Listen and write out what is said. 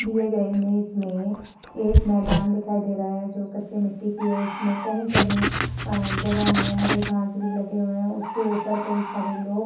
दिए गए इमेज में एक मैदान दिखाई दे रहा है जो कच्ची मिटटी की है। उसमें कहीं-कहीं जगह में हरी घास भी लगे हुए हैं। उसमें कई सारे लोग --